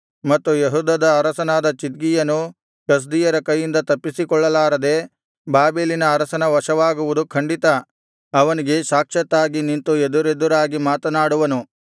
ಮತ್ತು ಯೆಹೂದದ ಅರಸನಾದ ಚಿದ್ಕೀಯನು ಕಸ್ದೀಯರ ಕೈಯಿಂದ ತಪ್ಪಿಸಿಕೊಳ್ಳಲಾರದೆ ಬಾಬೆಲಿನ ಅರಸನ ವಶವಾಗುವುದು ಖಂಡಿತ ಅವನಿಗೆ ಸಾಕ್ಷಾತ್ತಾಗಿ ನಿಂತು ಎದುರೆದುರಾಗಿ ಮಾತನಾಡುವನು